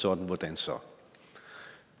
sådan hvordan så